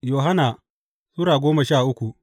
Yohanna Sura goma sha uku